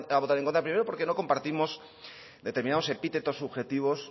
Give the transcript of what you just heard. votar en contra primero porque no compartimos determinados epítetos subjetivos